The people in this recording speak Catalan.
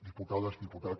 diputades diputats